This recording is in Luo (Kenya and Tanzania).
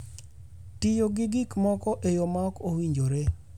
Tiyo gi gik moko e yo ma ok owinjore.